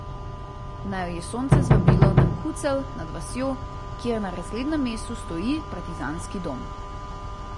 Naju je sonce zvabilo na kucelj nad vasjo, kjer na razglednem mestu stoji Partizanski dom.